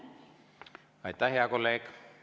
Aitäh, hea kolleeg!